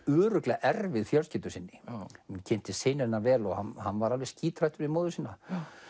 örugglega erfið fjölskyldu sinni ég kynntist syni hennar vel og hann var alveg skíthræddur við móður sína